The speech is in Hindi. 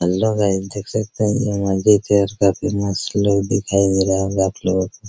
हैलो गाइज देख सकते हैं ये मस्जिद मस्त लुक दिखाई दे रहा होगा आप लोगो को।